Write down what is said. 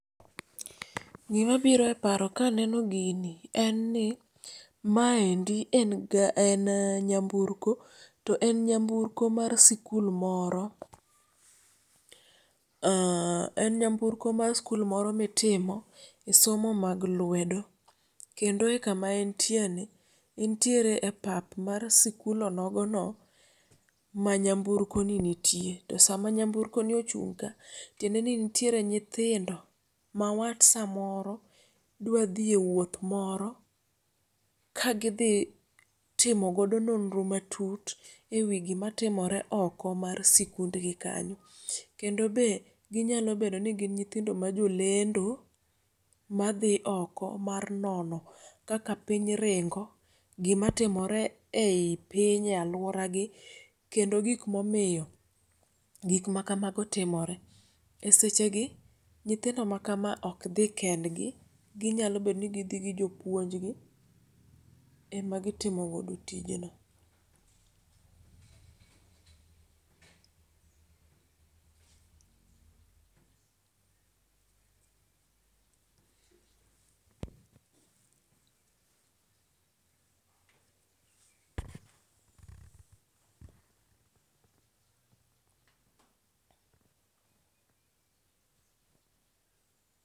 Gima biro e paro ka aneno gini en ni maendi en gar en nyamburko to en nyamburko mar sikul moro mitime somo mag lwedo kendo e kama entiereni entiere e pap mar sikul onogono ma nyamburkoni nitie to sama nyamburkoni ochung' ka tiende ni nitiere nyithindo mawat samoro dwa dhi ewuoth moro kagidhi timo godo nonro matut ewi gimatimore oko mar sikundgi kanyo. Kendo be ginnyalo bedo ni gin nyithindo majolendo madhi oko mar nono kaka piny ringo gimatimore ei piny aluoragi, kendo gik momiyo gik makamago timore. Esechegi nyithindo makama ok dhi kendgi, ginyalo bedo nigidhi gi jopuonj gi emagitimo godo tijeni.